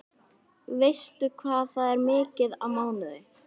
Veistu hvað það er mikið á mánuði?